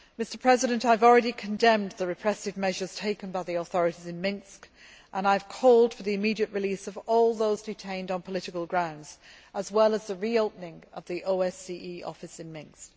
Mr President, I have already condemned the repressive measures taken by the authorities in Minsk and I have called for the immediate release of all those detained on political grounds, as well as the reopening of the OSCE office in Minsk.